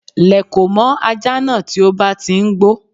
Lèkò mọ́ ajá náà tí ó bá ti ń gbó